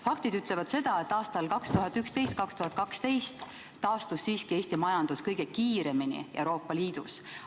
Faktid ütlevad seda, et aastal 2011–2012 taastus siiski Eesti majandus kõige kiiremini Euroopa Liidus.